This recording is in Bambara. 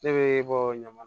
Ne bɛ bɔ ɲamana